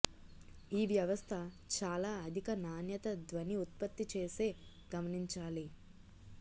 ఈ వ్యవస్థ చాలా అధిక నాణ్యత ధ్వని ఉత్పత్తి చేసే గమనించాలి